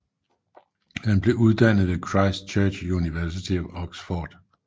Han blev uddannet ved Christ Church University of Oxford